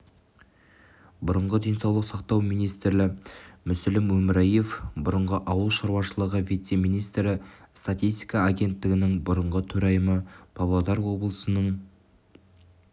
бұрынғы денсаулық сақтау министрі мүсілім өмірияев бұрынғы ауыл шаруашылығы вице-министрі статистика агенттігінің бұрынғы төрайымы павлодар облысының